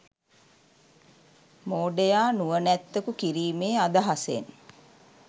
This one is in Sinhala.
මෝඩයා නුවණැත්තකු කිරීමේ අදහසෙන්